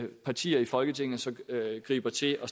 partier i folketinget så griber til at